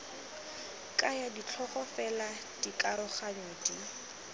kaya ditlhogo fela dikaroganyo di